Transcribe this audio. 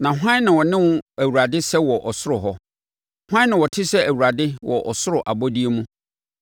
Na hwan na ɔne wo Awurade sɛ wɔ ɔsoro hɔ? Hwan na ɔte sɛ Awurade wɔ ɔsoro abɔdeɛ mu?